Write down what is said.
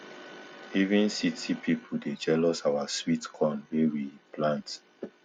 even city people dey jealous our sweet corn wey we plant